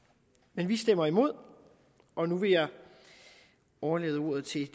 men vi stemmer imod og nu vil jeg overlade ordet til